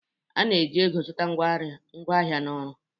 A na-eji ego zụta ngwaahịa na ọrụ.